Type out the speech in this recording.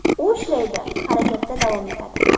U ishlaydi, harakatda davom etadi.